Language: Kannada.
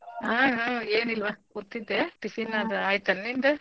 ಹಾ ಹಾ ಏನಿಲ್ವಾ ಕೂತಿದ್ದೆ. tiffin ಅದು ಆಯ್ತ್ ೆನ ನಿಂದ್.